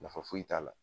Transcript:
Nafa foyi t'a la